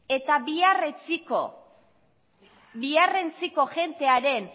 eta bihar etsiko jendearen